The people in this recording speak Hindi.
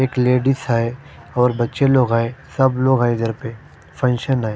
एक लेडिस है और बच्चे लोग है सब लोग है घर पर फंक्शन है।